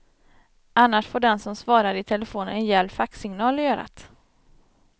Annars får den som svarar i telefonen en gäll faxsignal i örat.